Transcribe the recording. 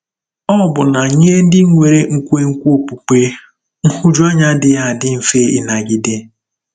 Ọbụna nye ndị nwere nkwenkwe okpukpe, nhụjuanya adịghị adị mfe ịnagide.